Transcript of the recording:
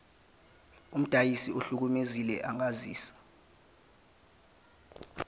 umdayisi ohlukumezekile angazisa